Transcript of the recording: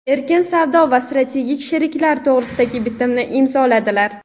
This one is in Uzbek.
erkin savdo va strategik sheriklik to‘g‘risidagi Bitimni imzoladilar.